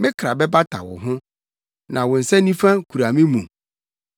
Me kra bata wo ho; na wo nsa nifa kura me mu.